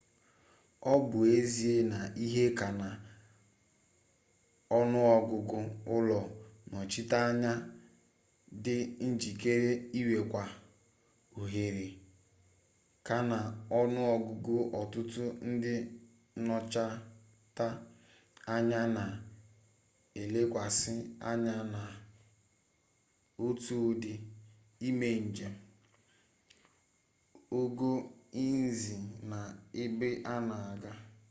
obu ezie na ihe-ka-na-onuogugu ulo nnochita-anya di njikere iwerekwu ohere-ka-na-onuogugu otutu ndi nnochita-anya na elekwasi anya na otu udi ime-njem, ogo nhzi na ebe-ana-aga